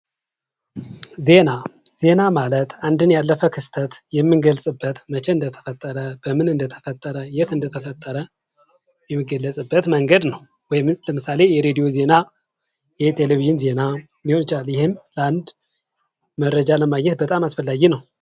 ዜና ዜና ማለት አንድ ነው ያለፈ ክስተት የምንገልጽበት መቸ እንደተፈጠረ በምን እንደተፈጠረ የት እንደተፈጠረ የሚገለጽበት መንገድ ነው። ለምሳሌ የሬዲዮ ዜና፤ የቴሌቪዥን ዜና ሊሆን ይችላል ለአንድ መረጃ በጣም አስፈላጊ ነው።